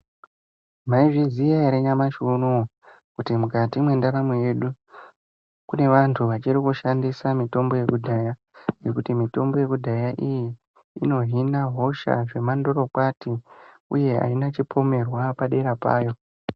Mayizviziya ere nyamashi unowu ?Kuti mukati mwendaramo yedu, kune vantu vachiri kushandisa mitombo yekudhaya, nokuti mitombo yekudhaya iyi inohina hosha zvemandorokwati uye haina chipomerwa padera payo.